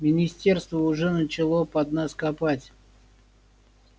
министерство уже начало под нас копать